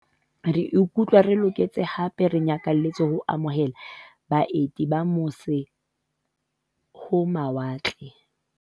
"Re ikutlwa re se re loketse hape re nyakalletse ho amo hela baeti ba mose-ho-mawa tle."